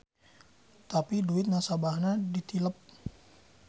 Tapi duit nasabahna ditilep.